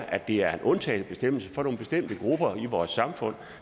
at det er en undtagelsesbestemmelse for nogle bestemte grupper i vores samfund